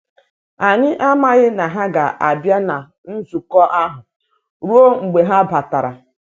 Anyị amaghi na ha ga-abịa na nzukọ ahụ ruo mgbe ha batara.